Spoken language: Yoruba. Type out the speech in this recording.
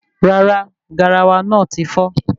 Rárá, garawa náà tí fọ́